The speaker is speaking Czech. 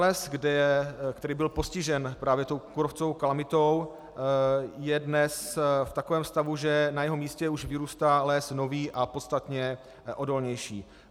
Les, který byl postižen právě tou kůrovcovou kalamitou, je dnes v takovém stavu, že na jeho místě už vyrůstá les nový a podstatně odolnější.